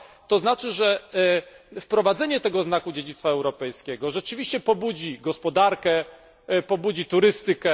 To znaczy, że wprowadzenie owego znaku dziedzictwa europejskiego rzeczywiście pobudzi gospodarkę i turystykę.